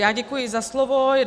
Já děkuji za slovo.